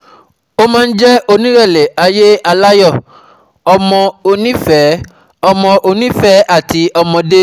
Ó máa ń jẹ́ onírẹ̀lẹ̀ ayé aláyọ̀, ọmọ onífẹ̀ẹ́ ọmọ onífẹ̀ẹ́ àti ọmọdé